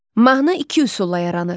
Mahnı iki üsulla yaranır.